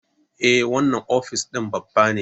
Eh, wannan ofis din babba ne